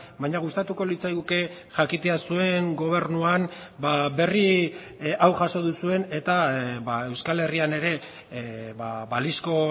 baina gustatuko litzaiguke jakitea zuen gobernuan berri hau jaso duzuen eta euskal herrian ere balizko